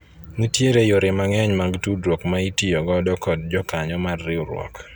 nitiere yore mang'eny mag tudruok ma itiyo godo kod jokanyo mar riwruok